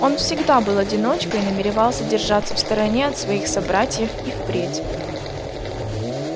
он всегда был одиночкой и намеревался держаться в стороне от своих собратьев и впредь